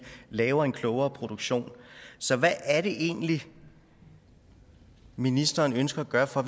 laver en klogere produktion så hvad er det egentlig ministeren ønsker at gøre for